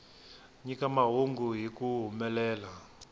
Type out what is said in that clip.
nyika mahungu hi ku humelela